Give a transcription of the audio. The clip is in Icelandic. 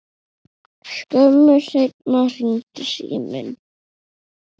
Skömmu seinna hringdi síminn.